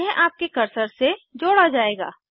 यह आपके कर्सर से जोड़ा जायेगा